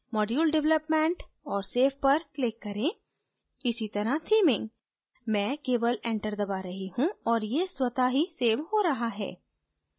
module development और save click करें इसी तरह theming मैं केवल enter दबा रही हूँ और यह स्वत: ही सेव हो रहा है